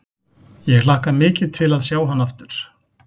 Ég hlakka mikið til að sjá hann aftur.